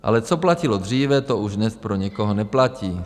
Ale co platilo dříve, to už dnes pro někoho neplatí.